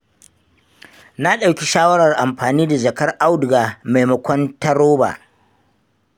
Na ɗauki shawarar amfani da jakar auduga maimakon ta roba.